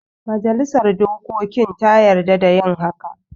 Majalisa dokokin ta yarda da yin haka